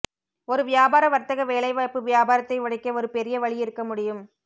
ஒரு வியாபார வர்த்தக வேலைவாய்ப்பு வியாபாரத்தை உடைக்க ஒரு பெரிய வழி இருக்க முடியும்